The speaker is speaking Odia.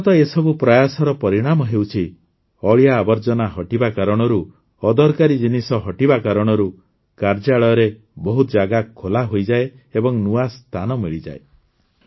କ୍ରମାଗତ ଏସବୁ ପ୍ରୟାସର ପରିଣାମ ହେଉଛି ଅଳିଆ ଆବର୍ଜନା ହଟିବା କାରଣରୁ ଅଦରକାରୀ ଜିନିଷ ହଟିବା କାରଣରୁ କାର୍ଯ୍ୟାଳୟରେ ବହୁତ ଜାଗା ଖୋଲା ହୋଇଯାଏ ଓ ନୂଆ ସ୍ଥାନ ମିଳିଥାଏ